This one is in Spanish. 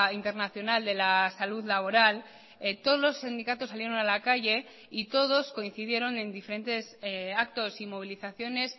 internacional de la salud laboral todos los sindicatos salieron a la calle y todos coincidieron en diferentes actos y movilizaciones